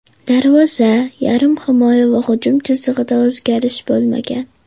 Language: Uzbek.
Darvoza, yarim himoya va hujum chizig‘ida o‘zgarish bo‘lmagan.